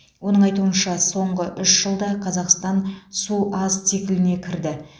оның айтуынша соңғы үш жылда қазақстан су аз цикліне кірді